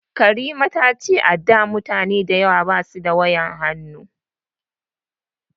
Karima ta ce a da mutane dayawa ba su da wayar hannu